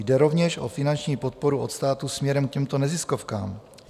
Jde rovněž o finanční podporu od státu směrem k těmto neziskovkám.